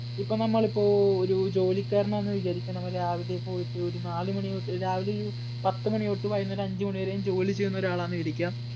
ഇപ്പോൾ നമ്മൾ ഇപ്പോ ഒരു ജോലിക്കാരൻ എന്ന് വിചാരിക്കാ, നമ്മൾ രാവിലെ പോയിട്ട് ഒരു നാലുമണി തൊട്ട് രാവിലെ ഒരു പത്ത് മണി തൊട്ട് വൈകുന്നേരം അഞ്ച് മണി വരെയും ജോലി ചെയ്യുന്ന ഒരാളാണെന്ന് വിചാരിക്കാം.